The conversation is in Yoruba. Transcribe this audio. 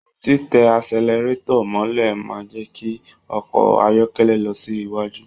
Titẹ asẹ̀lẹrátọ̀ mọ̀lẹ́ máa n jẹ kí ọkọ ayọkẹlẹ lọ sí iwájú.